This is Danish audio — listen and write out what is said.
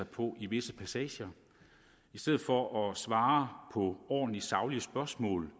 på i visse passager i stedet for at svare på ordentlige og saglige spørgsmål